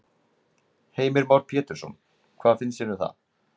Heimir Már Pétursson: Hvað finnst þér um það?